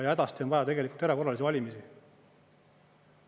Hädasti on vaja tegelikult erakorralisi valimisi.